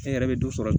Fɛn yɛrɛ bɛ dɔ sɔrɔ